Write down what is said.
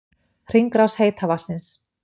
Hringrás heita vatnsins